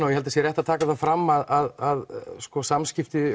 ég held það sé rétt að taka það fram að samskipti